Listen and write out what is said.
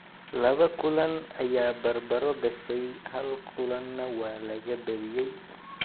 Laba kulan ayaa bar-baro gashay hal kulanna waa laga badiyay.